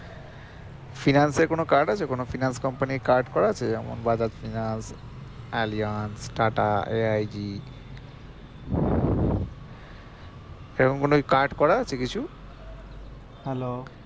finance এর কোনো card আছে কোনো finance company র card করা আছে যেমন Bajaj finance, Alliance, TATA AIG সেরকম কি card করা আছে কিছু?